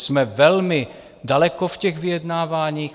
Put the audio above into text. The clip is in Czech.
Jsme velmi daleko v těch vyjednáváních.